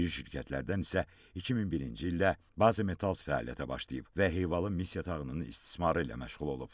İri şirkətlərdən isə 2001-ci ildə Bazimetals fəaliyyətə başlayıb və hevalı mis yatağının istismarı ilə məşğul olub.